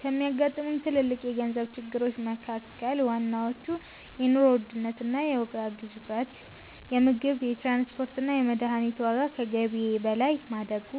ከሚያጋጥሙኝ ትልልቅ የገንዘብ ችግሮች መካ�ከል ዋናዎቹ፦ የኑሮ ውድነት እና የዋጋ ግሽበት - የምግብ፣ የትራንስፖርት እና የመድኃኒት ዋጋ ከገቢዬ በላይ ማደጉ።